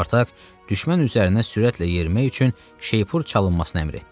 Spartak düşmən üzərinə sürətlə yerimək üçün şeypur çalınmasını əmr etdi.